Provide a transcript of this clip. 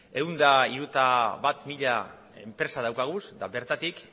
ehun eta hirurogeita bat mila enpresa daukagu eta bertatik